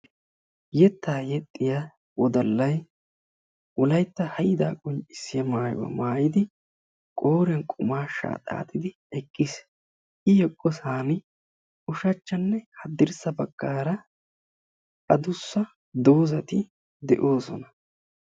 Yetta yeexxiyaa wodalla Wolaytta haydda qoccissiyaa maayuwaa maayyidi qooriyaan qummasha xaaxxidi eqqiis; I eqqo baggara ushachchanne haddirssa baggara addussa doozati de'oosona.